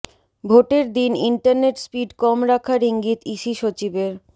ভোটের দিন internet speed কম রাখার ইঙ্গিত ইসি সচিবের